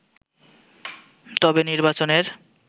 তবে নির্বাচনের